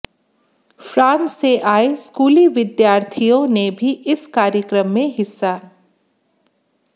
France से आए स्कूली विद्यार्थियों ने भी इस कार्यक्रम में हिस्सा